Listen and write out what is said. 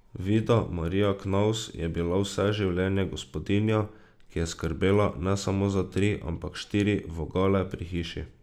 Vida Marija Knavs je bila vse življenje gospodinja, ki je skrbela ne samo za tri, ampak štiri vogale pri hiši.